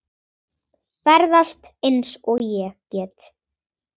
Ferðast eins og ég get.